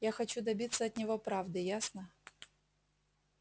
я хочу добиться от него правды ясно